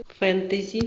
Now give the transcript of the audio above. фэнтези